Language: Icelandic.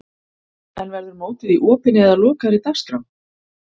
En verður mótið í opinni eða lokaðri dagskrá?